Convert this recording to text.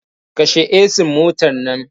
Kashe ehsin motar nan!